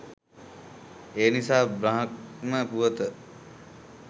එනිසා බ්‍රහ්ම පුවත